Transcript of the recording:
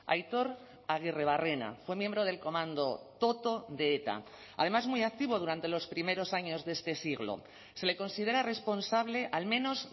aitor aguirrebarrena fue miembro del comando toto de eta además muy activo durante los primeros años de este siglo se le considera responsable al menos